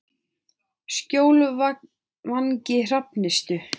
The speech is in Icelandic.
Skjólvangi Hrafnistu